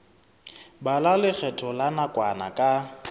bala lekgetho la nakwana ka